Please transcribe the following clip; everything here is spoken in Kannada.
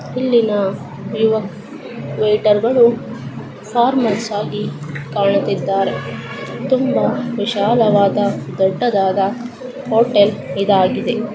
ಇಲ್ಲಿನಾ ಯುವ ವೆಯಿಟರ್ಗಳು ಫಾರ್ಮಲ್ಸ್ ಆಗಿ ಕಾಣುತ್ತಿದ್ದಾರೆ ತುಂಬಾ ವಿಶಾಲವಾದ ದೊಡ್ಡದಾದ ಹೋಟೆಲ್ ಇದಾಗಿದೆ.